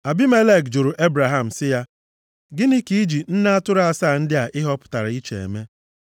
Abimelek jụrụ Ebraham sị ya, “Gịnị ka i ji nne atụrụ asaa ndị a ị họpụtara iche eme?”